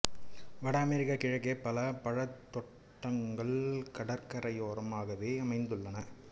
வட அமெரிக்கக் கிழக்கே பல பழத் தோட்டங்கள் கடற்கரையோரமாகவே அமைந்துள்ளன